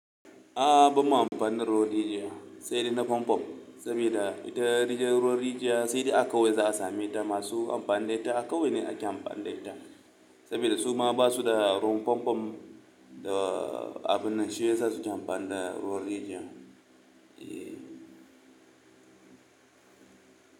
A'a bamma amfani da ruwan rijiya, sai dai na famfo, sabida ita ruwan rijiya sai dai kauye za'a sameta, masu amfani da ita, a kauye ne ake amfani da ita sabida su ma basuda ruwan famfam da abinnan shiyasa suke amfani da ruwan rijiya.